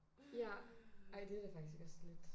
Ja ej det da faktisk også lidt